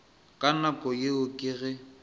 ka nako yeo ke ge